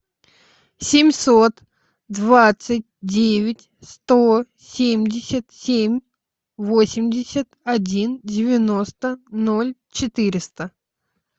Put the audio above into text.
семьсот двадцать девять сто семьдесят семь восемьдесят один девяносто ноль четыреста